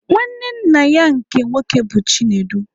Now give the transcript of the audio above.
Nwanne nna ya nke nwoke bụ Chinedu.